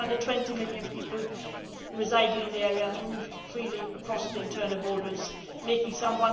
Four hundred and twenty million people residing in the area move freely across the internal borders, making some